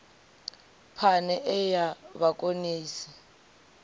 phane e ya vhakonesi i